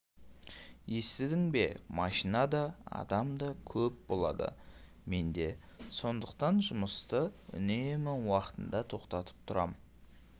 естідің бе машина да адам да көп болады менде сондықтан жұмысты үнемі уақытында тоқтатып тұрам